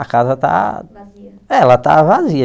A casa está vazia é ela está vazia.